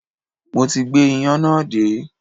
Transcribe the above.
Mo ti gbé iyán náà dé